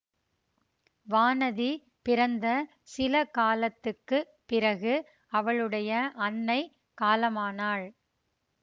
வானதி பிறந்த சில காலத்துக்கு பிறகு அவளுடைய அன்னை காலமானாள்